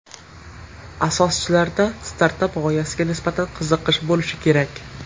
Asoschilarda startap g‘oyasiga nisbatan qiziqish bo‘lishi kerak.